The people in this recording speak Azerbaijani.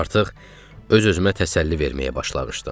Artıq öz-özümə təsəlli verməyə başlamışdım.